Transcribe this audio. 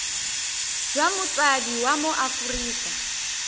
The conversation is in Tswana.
jwa motsadi wa mo aforika